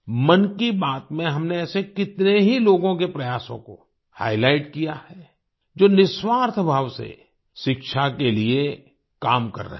मन की बात में हमने ऐसे कितने ही लोगों के प्रयासों को हाइलाइट किया है जो निस्वार्थ भाव से शिक्षा के लिए काम कर रहे हैं